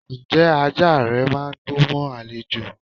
Ǹjẹ́ ajá rẹ máà ń gbó mọ́ àlejò?